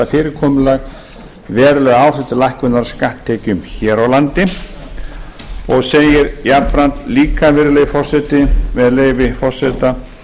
fyrirkomulag veruleg áhrif til lækkunar á skatttekjum hér á landi hann segir jafnframt líka virðulegi forseti með leyfi forseta